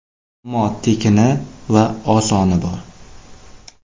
Ammo tekini va osoni bor.